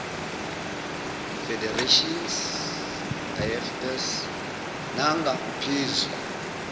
federations ifs nangaphezu